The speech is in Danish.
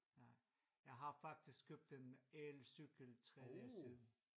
Nej. Jeg har faktisk købt en elcykel for 3 dage siden